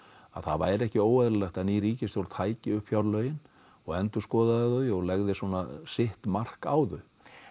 að það væri ekki óeðlilegt að ný ríkisstjórn tæki upp fjárlögin og endurskoðaði þau og leggði svona sitt mark á þau